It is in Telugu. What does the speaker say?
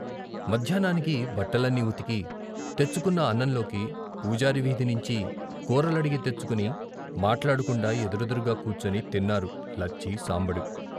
మధ్యాహ్నానికి బట్టలన్నీ ఉతికి, తెచ్చుకొన్న అన్నంలోకి పూజారి వీధినించి కూరలడిగి తెచ్చుకుని మాట్లాడకుండా ఎదురెదురుగా కూర్చుని తిన్నారు లచ్చి, సాంబడు.